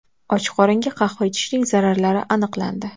Och qoringa qahva ichishning zararlari aniqlandi.